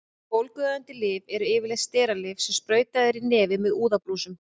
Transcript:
Bólgueyðandi lyf eru yfirleitt steralyf sem sprautað er í nefið með úðabrúsum.